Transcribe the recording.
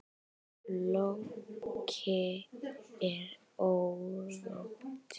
Fólki er órótt.